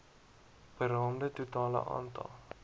beraamde totale aantal